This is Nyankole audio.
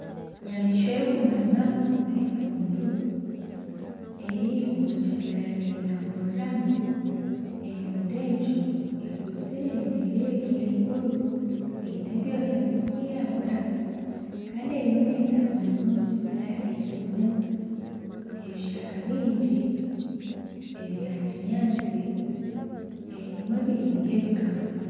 Enyamaishwa erikumanywa nkempundu eri omu kibira netamburiramu ,empundu egyo ekuzire nerebeka eri nkuru eine ebyooya birikwiragura Kandi eriyo netamburira omu kibira ekirimu ebishaka bingi ebya kinyatsi ebimwe biri nka ebikamba